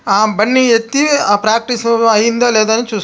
అవన్నీ ఎత్తి ప్రాక్టీసు అయిందో లేదో చూసుకుంటున్నా--